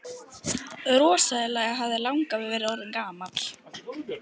Rosalega hefði langafi verið orðinn gamall!